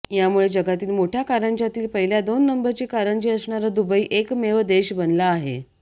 यामुळे जगातील मोठ्या कारंज्यातील पहिल्या दोन नंबरची कारंजी असणारा दुबई एकमेव देश बनला आहे